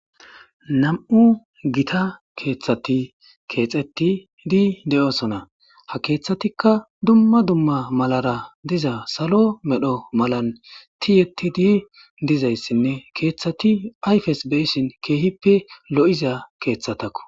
Nam'u Gita kethi kethetidi de'osona.ha kethatika dumma dumma malara diza salo mala medho tiyetidi dizaysinne kethati ayfen beyishin kehippe lo'iza kethatako.